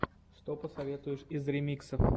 что посоветуешь из ремиксов